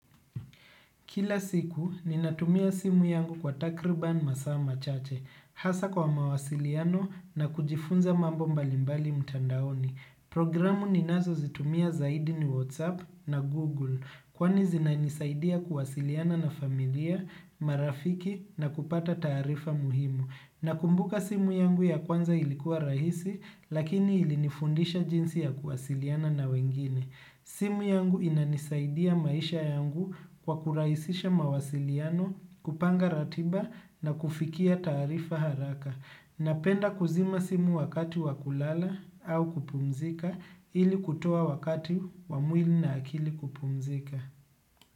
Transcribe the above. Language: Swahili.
Kila siku, ninatumia simu yangu kwa takriban masa machache, hasa kwa mawasiliano na kujifunza mambo mbalimbali mtandaoni. Programu ninazozitumia zaidi ni WhatsApp na Google, kwani zinanisaidia kuwasiliana na familia, marafiki na kupata taarifa muhimu. Nakumbuka simu yangu ya kwanza ilikuwa rahisi, lakini ilinifundisha jinsi ya kuwasiliana na wengine. Simu yangu inanisaidia maisha yangu kwa kurahisisha mawasiliano, kupanga ratiba na kufikia taarifa haraka. Napenda kuzima simu wakati wakulala au kupumzika ili kutoa wakati wa mwili na akili kupumzika.